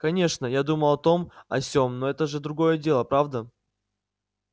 конечно я думал о том о сём но это же другое дело правда